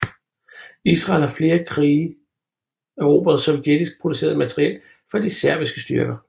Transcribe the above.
Israel har i flere krige erobret sovjetisk produceret materiel fra de arabiske styrker